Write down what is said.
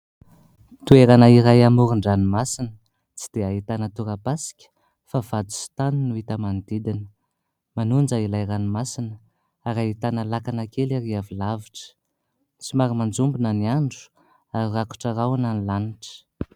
Toerana iray amoron-dranomasina tsy dia ahitana tora-pasika fa vato sy tany no hita manodidina. Manonja ilay ranomasina ary ahitana lakana kely ary avy lavitra. Somary manjombona ny andro ary rakotra rahona ny lanitra.